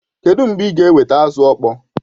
Kedụ mgbe ị ga-eweta azụ ọkpọọ?